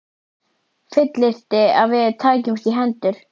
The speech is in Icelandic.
Fullyrti, að við tækjumst í hendur.